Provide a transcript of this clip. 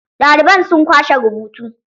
Ɗaliban sun kwashe rubutu.